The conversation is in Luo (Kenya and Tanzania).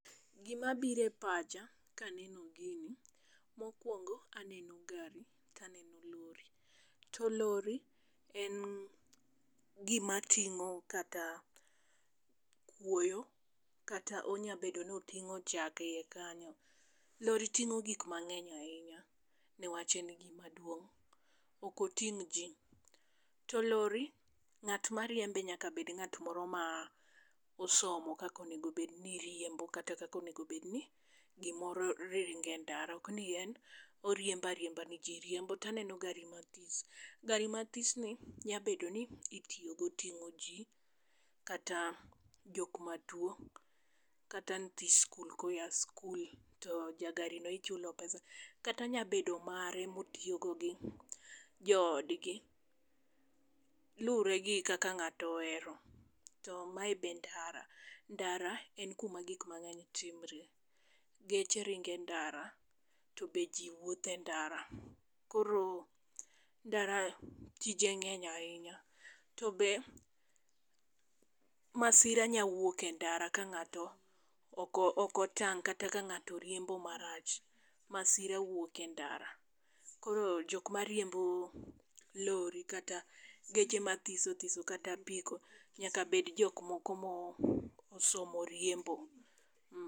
Gima biro e pacha ka aneno gini mokwongo aneno gari to aneno lori. To lori en gima ting'o kata kuoyo kata onya bedo ni oting'o chak eiye kanyo. Lori ting'o gik mang'eny ahinya, niwach en gima duong. Ok oting' ji. To lori, ng'at mariembe nyaka bed ng'ato moro ma osomo kaka onego bed ni riembo kata kaka onego bed ni gomoro ringo e ndara. To aneno gari mathis. Gari mathis nyalo bedo ni itiyo go ting'o ji kata jo matwo, kata nyithi skul koya skul. To jagari no ichulo pesa. Kata nya bedo mare ma otiyo go gi joodgi. Lure go kaka ng'ato ohero. To mae be ndara. Ndara en kuma gik mang'eny timore. Geche ringo e ndara. To be ji wuotho e ndara. Koro ndara tije ng'eny ahinya. To be masira nyalo wuok e ndara ka ng'ato oko, okotang' kata ka ng'ato riembo marach. Masira wuok e ndara. Koro jok mariembo lori kata geche mathiso thiso kata apiko, nyaka bed jok moko ma osomo riembo.